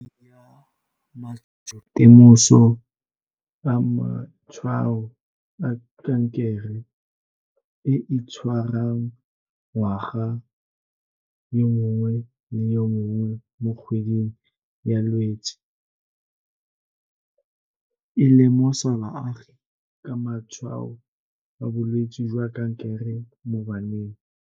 KGWEDI YA MATSHOLOTEMOSO a Matshwao a Kankere, e e tshwarwang ngwaga yo mongwe le yo mongwe mo kgweding ya Lwetse, e lemosa baagi ka matshwao a bolwetse jwa kankere mo baneng.